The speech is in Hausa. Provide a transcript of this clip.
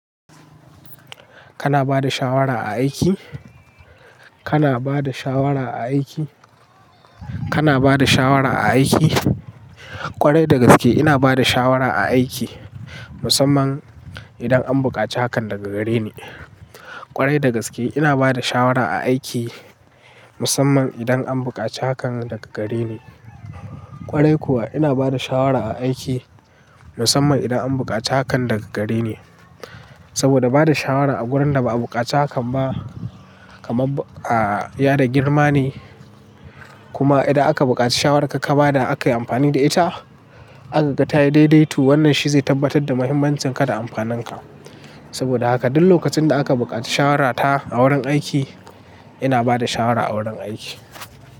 Kana bada shawara a aiki? Kana bada shawara a aiki? Kana bada shawara a aiki? Kwarai da gaske ina bada shawara a aiki musamman idan an bukaci hakan daga gare ni. Kwarai da gaske ina bada shawara a aiki musamman idan an bukaci hakan daga gare ni. Kwarai kuwa ina bada shawara a aiki musamman idan an bukaci hakan daga gare ni. Saboda bada shawara a wuraren da ba a buƙaci hakan ba kama, ah, ya da girma ne. Kuma idan aka bukaci shawararka ka bada aka yi amfani da ita, aka ga tayi daidai to wannan shi zai tabbatar da muhimmancin ka da amfanin ka. Saboda haka duk lokacin da aka bukaci shawarata a wurin aiki ina bada shawara a wurin aiki.